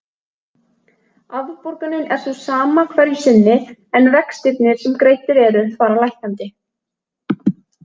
Afborgunin er sú sama hverju sinni en vextirnir sem greiddir eru fara lækkandi.